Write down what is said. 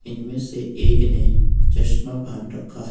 इनमें से एक ने चश्मा पहन रखा है।